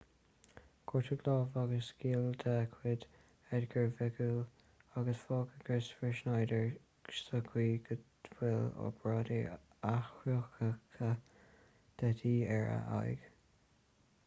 gortaíodh lámh agus giall de chuid edgar veguilla agus fágadh kristoffer schneider sa chaoi go bhfuil obráid athchruthaitheach de dhíth ar a aghaidh